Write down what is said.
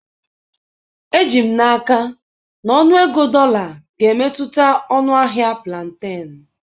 Eji m n'aka na ọnụego dollar ga-emetụta ọnụ ahịa plantain.